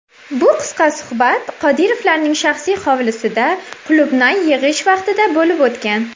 Bu qisqa suhbat Qodirovlarning shaxsiy hovlisida qulupnay yig‘ish vaqtida bo‘lib o‘tgan.